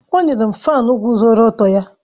O nyere m fáan guzoro ọtọ ya